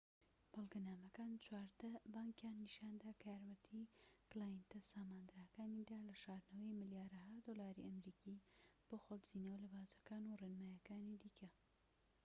بەڵگەنامەکان چواردە بانكیان نیشاندا کە یارمەتی کلایەنتە ساماندارەکانیاندا لە شاردنەوەی ملیارەها دۆلاری ئەمریکی بۆ خۆ دزینەوە لە باجەکان و ڕێنماییەکانی دیکە